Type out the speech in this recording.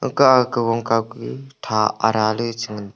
ka a kagong kau kah tha ada le che ngan tega.